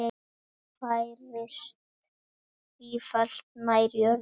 Færist sífellt nær jörðu.